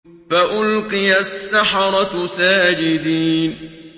فَأُلْقِيَ السَّحَرَةُ سَاجِدِينَ